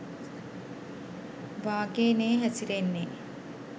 වාගේ නේ හැසිරෙන්නේ.